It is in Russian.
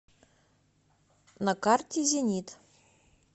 на карте зенит